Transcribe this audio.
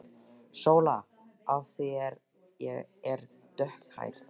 SÓLA: Af því ég er dökkhærð.